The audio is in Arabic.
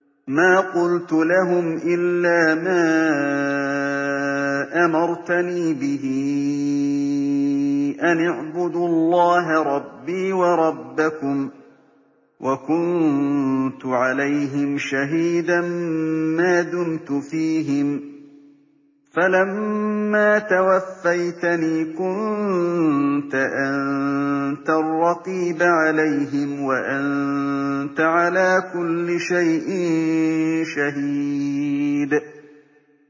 مَا قُلْتُ لَهُمْ إِلَّا مَا أَمَرْتَنِي بِهِ أَنِ اعْبُدُوا اللَّهَ رَبِّي وَرَبَّكُمْ ۚ وَكُنتُ عَلَيْهِمْ شَهِيدًا مَّا دُمْتُ فِيهِمْ ۖ فَلَمَّا تَوَفَّيْتَنِي كُنتَ أَنتَ الرَّقِيبَ عَلَيْهِمْ ۚ وَأَنتَ عَلَىٰ كُلِّ شَيْءٍ شَهِيدٌ